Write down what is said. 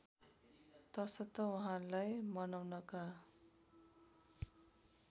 तसर्थ उहाँलाई मनाउनका